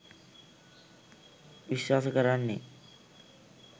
විශ්වාස කරන්නෙ.